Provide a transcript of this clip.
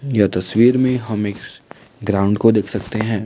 यह तस्वीर में हम एक ग्राउंड को देख सकते हैं।